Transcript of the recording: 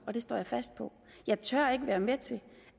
det står jeg fast på jeg tør ikke være med til